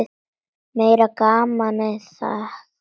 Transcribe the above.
Meira gamanið það!